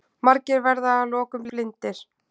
Margir verða að lokum blindir.